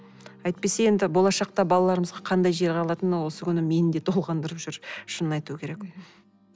әйтпесе енді болашақта балаларымызға қандай жер қалатыны осы күнде мені де толғандырып жүр шынын айту керек